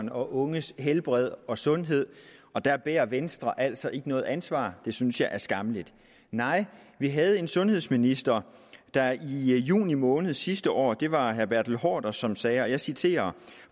og unges helbred og sundhed og der bærer venstre altså ikke noget ansvar det synes jeg er skammeligt vi havde en sundhedsminister der i juni måned sidste år det var herre bertel haarder som sagde og jeg citerer